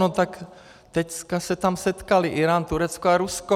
No tak teď se tam setkaly Írán, Turecko a Rusko.